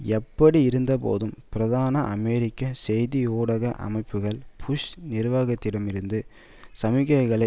எப்படியிருந்தபோதும் பிரதான அமெரிக்க செய்தியூடக அமைப்புக்கள் புஷ் நிர்வாகத்திடம் இருந்து சமிக்கையை